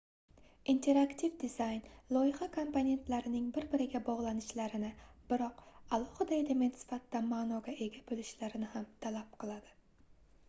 interaktiv dizayn loyiha komponentlarining bir-birlariga bogʻlanishlarini biroq alohida element sifatida maʼnoga ega boʻlishlarini ham talab qiladi